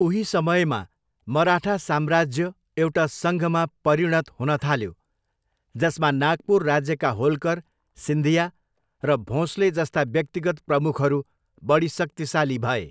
उही समयमा, मराठा साम्राज्य एउटा सङ्घमा परिणत हुन थाल्यो, जसमा नागपुर राज्यका होल्कर, सिन्धिया र भोँसले जस्ता व्यक्तिगत प्रमुखहरू बढी शक्तिशाली भए।